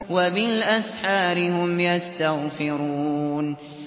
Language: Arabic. وَبِالْأَسْحَارِ هُمْ يَسْتَغْفِرُونَ